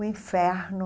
O inferno.